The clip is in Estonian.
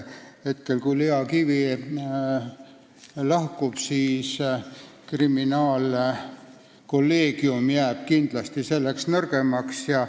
Kui Lea Kivi lahkub, siis jääb kriminaalkolleegium kindlasti seetõttu nõrgemaks.